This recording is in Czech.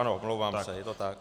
Ano, omlouvám se, je to tak.